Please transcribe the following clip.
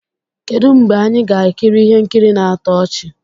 Kedu mgbe anyị ga-ekiri ihe nkiri na-atọ ọchị?